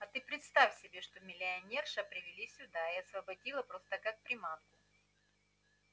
а ты представь себе что миссионера привели сюда и освободили просто как приманку